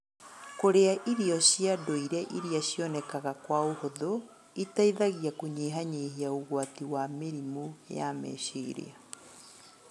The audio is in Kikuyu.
Kũrĩa irio cia ndũire iria cionekaga kwa ũhũthũ iteithagia kũnyihanyihia ũgwati wa mĩrimũ ya meciria.